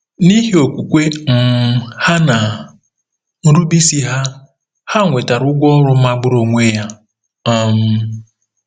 N'ihi okwukwe um ha na nrubeisi ha, ha nwetara ụgwọ ọrụ magburu onwe ya. um